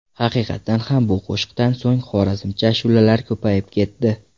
Haqiqatan ham bu qo‘shiqdan so‘ng xorazmcha ashulalar ko‘payib ketdi.